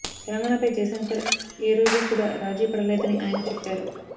తెలంగాణపై జయశంకర్ ఏ రోజు కూడా రాజీ పడలేదని ఆయన చెప్పారు